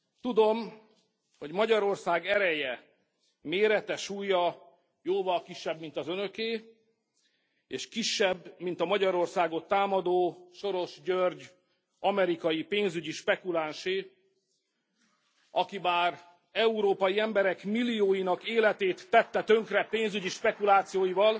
Tudom, hogy Magyarország ereje, mérete, súlya jóval kisebb, mint az Önöké, és kisebb, mint a Magyarországot támadó Soros György amerikai pénzügyi spekulánsé, aki bár európai emberek millióinak életét tette tönkre pénzügyi spekulációival,